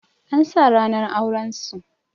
An sa ranar auren su